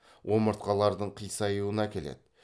омыртқалардың қисаюына әкеледі